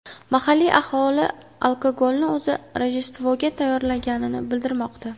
Mahalliy aholi alkogolni o‘zi Rojdestvoga tayyorlagani bildirilmoqda.